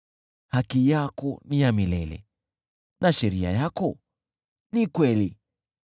Haki yako ni ya milele, na sheria yako ni kweli.